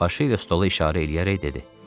Başı ilə stola işarə eləyərək dedi.